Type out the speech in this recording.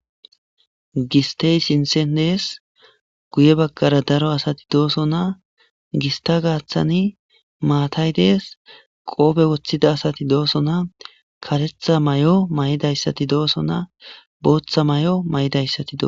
Gistey sinsendees guye baggara daro asati dooso na gista gaaththani maatay dees qoobe woththida asati dooso naa kaletha may'o may'idayssati dooso na booththa may'o may'idayssati doo